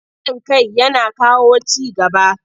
Haɗin kai yana kawo ci gaba.